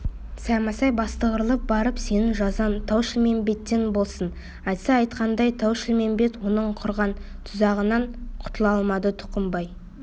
саймасай бастығырылып барып сенің жазаң тау-шілмембеттен болсын айтса айтқандай тау-шілмембет оның құрған тұзағынан құтыла алмады тұқымбай